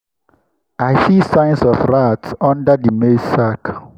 i see signs of rats under the maize sack.